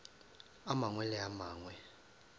a mangwe le a mangwe